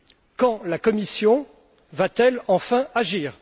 Quand la Commission va t elle enfin agir?